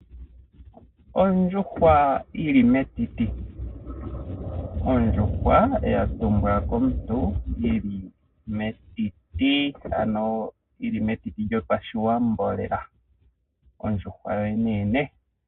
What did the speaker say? Ondjuhwa yili metiti, ondjuhwa yatumbwa komuntu yili metiti ano yili metiti lyopashiwambo lela. Ondjuhwa yoyene yene.